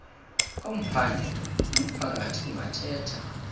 komphandle nomphakathi kungathetha